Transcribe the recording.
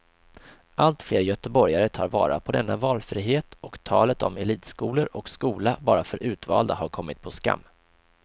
Allt fler göteborgare tar vara på denna valfrihet och talet om elitskolor och skola bara för utvalda har kommit på skam.